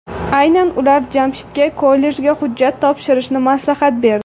Aynan ular Jamshidga kollejga hujjat topshirishni maslahat berdi.